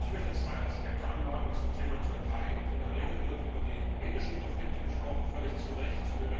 Ich möchte zwei Aspekte zum Thema Türkei anmerken. In der Regel wird über die ethnischen Konflikte gesprochen völlig zu Recht.